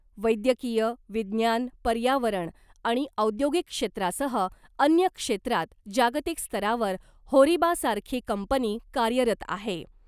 वैद्यकीय , विज्ञान , पर्यावरण आणि औद्योगिक क्षेत्रासह अन्य क्षेत्रात जागतिक स्तरावर होरिबासारखी कंपनी कार्यरत आहे .